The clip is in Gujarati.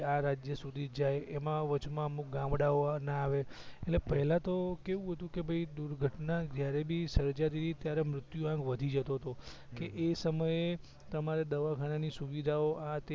આ રાજ્ય સુધી જ જાય એમાં વચમાં અમુક ગામડાઓ ના આવે એટલે પેલા તો કેવું હતું કે ભઇ દુર્ઘટના જ્યારે ભી સર્જાતી તી ત્યારે આમ મૃત્યુ વધી જતો તો કે એ સમયે તમારે દવાખાના ની સુવિધાઓ આ તે